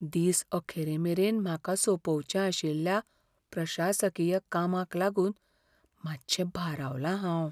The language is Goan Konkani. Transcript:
दीस अखेरेमेरेन म्हाका सोंपोवचें आशिल्ल्या प्रशासकीय कामाक लागून मातशें भारावलां हांव.